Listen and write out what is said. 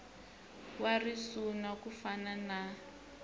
wa risuna ku fana na